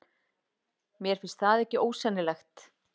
Mér finnst það ekki ósennilegt.